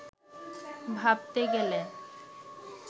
ভাবতে গেলে